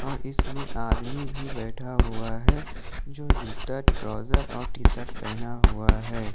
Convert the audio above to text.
अ इसमें आदमी भी बैठा हुआ है जो जूता ट्राउजर और टी शर्ट पहना हुआ है।